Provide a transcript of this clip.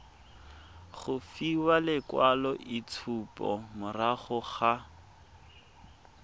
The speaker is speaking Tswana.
go fiwa lekwaloitshupo morago ga